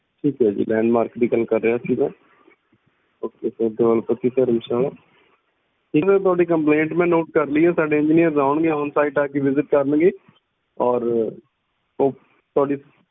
ਠੀਕ ਆ ਜੀ landmark ਦੀ ਗੱਲ ਕਰ ਰਿਹਾ ਸੀ ਮੈਂ ਦਿਓਲ ਪੱਤੀ ਧਰਮਸਾਲਾ ਜੀ ਮੈਂ ਥੋਡੀ complaint ਮੈਂ note ਕਰ ਲਈ ਆ ਸਾਡੇ engineer ਆਉਣਗੇ ਓਹ site ਆ ਕੇ visit ਕਰਨਗੇ ਔਰ ਓ~ ਤੁਹਾਡੀ